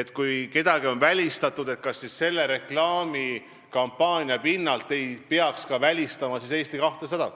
et kui kedagi on välistatud, kas siis selle reklaamikampaania tõttu ei peaks välistama ka Eesti 200.